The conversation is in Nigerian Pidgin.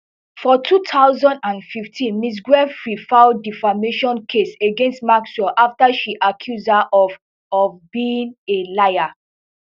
for two thousand and fifteen ms giuffre file defamation case against maxwell after she accuse her of of being a liar